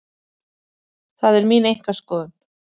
Það er mín einkaskoðun.